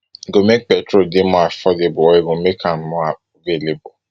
e go make petrol dey more affordable or make am more available